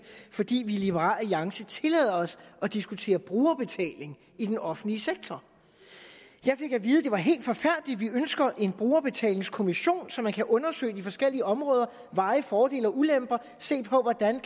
fordi vi i liberal alliance tillader os at diskutere brugerbetaling i den offentlige sektor jeg fik at vide at det var helt forfærdeligt at vi ønsker en brugerbetalingskommission så man kan undersøge de forskellige områder og veje fordele og ulemper og se på hvordan